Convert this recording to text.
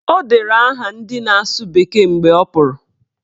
O dere aha ndị na-asụ bekee mgbe ọ pụrụ